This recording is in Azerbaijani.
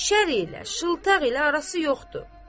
Şər elə, şıltaq elə arası yoxdur.